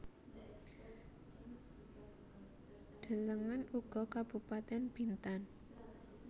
Delengen uga Kabupatèn Bintan